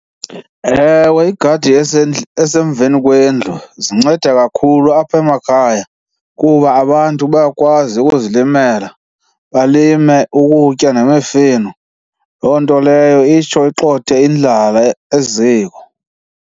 Ewe, igadi esemveni kwendlu zinceda kakhulu apha emakhaya kuba abantu bayakwazi ukuzilimela, balime ukutya nemifino. Loo nto leyo itsho igxothe indlala eziko.